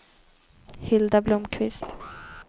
Hilda Blomqvist